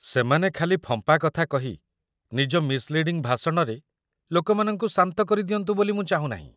ସେମାନେ ଖାଲି ଫମ୍ପା କଥା କହି ନିଜ ମିସ୍‌ଲିଡିଂ ଭାଷଣରେ ଲୋକମାନଙ୍କୁ ଶାନ୍ତ କରିଦିଅନ୍ତୁ ବୋଲି ମୁଁ ଚାହୁଁ ନାହିଁ ।